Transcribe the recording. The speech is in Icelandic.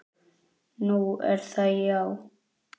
Nú, er það já.